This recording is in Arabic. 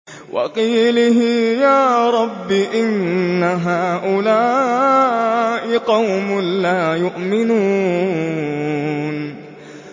وَقِيلِهِ يَا رَبِّ إِنَّ هَٰؤُلَاءِ قَوْمٌ لَّا يُؤْمِنُونَ